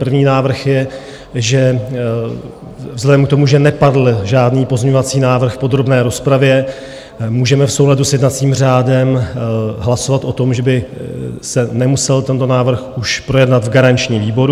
První návrh je, že vzhledem k tomu, že nepadl žádný pozměňovací návrh v podrobné rozpravě, můžeme v souladu s jednacím řádem hlasovat o tom, že by se nemusel tento návrh už projednat v garančním výboru.